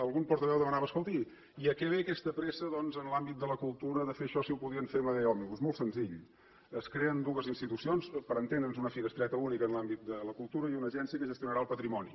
algun portaveu demanava escolti i a què ve aquesta pressa doncs en l’àmbit de la cultura de fer això si ho podien fer amb la llei òmnibus molt senzill es creen dues institucions per entendre’ns una finestreta única en l’àmbit de la cultura i una agència que gestionarà el patrimoni